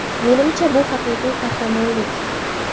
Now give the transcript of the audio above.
Menimcha, bu haqiqiy qahramonlik”.